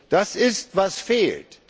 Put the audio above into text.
Das ist, was fehlt.